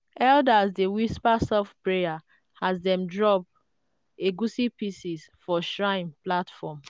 elders dey whisper soft prayer as dem drop egusi pieces for shrine platform.